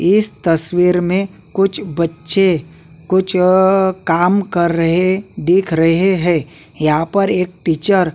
इस तस्वीर में कुछ बच्चे कुछ अ काम कर रहे दिख रहे है यहां पर एक टीचर --